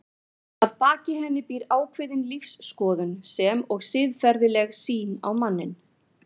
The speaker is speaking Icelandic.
Að baki henni býr ákveðin lífsskoðun sem og siðferðileg sýn á manninn.